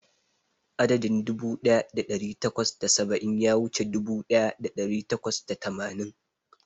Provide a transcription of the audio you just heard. Adadin dubu ɗaya da ɗari takwas da saba'in ya wuce dubu ɗaya da ɗari takwas da tamanin.